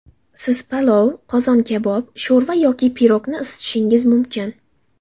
Siz palov, qozon kabob, sho‘rva yoki pirogni isitishingiz mumkin.